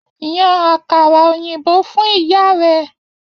Yan àkàrà òyìnbó fún ìyá rẹ!